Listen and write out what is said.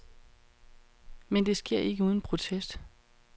Men det sker ikke uden protest.